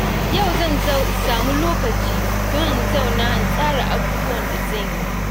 Yau zan samu lokaci don in zauna in tsara abubuwan da zan yi.